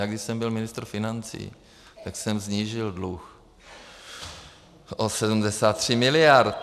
Já když jsem byl ministr financí, tak jsem snížil dluh o 73 miliard.